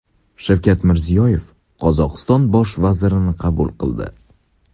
Shavkat Mirziyoyev Qozog‘iston Bosh vazirini qabul qildi.